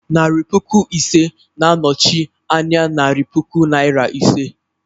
Narị puku ise na-anọchi anya narị puku Naịra ise.